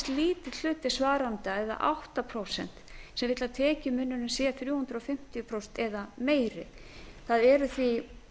lítill hluti svarenda eða átta prósent sem vill að tekjumunurinn sé þrjú hundruð fimmtíu prósent eða meiri það eru því